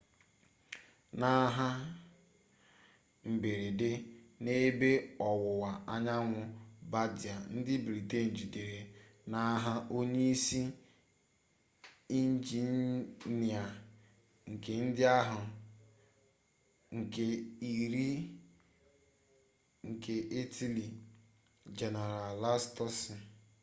n'agha mberede n'ebe ọwụwa anyanwụ bardia ndị britain jidere n'agha onye isi injinia nke ndị agha nke iri nke italy general lastucci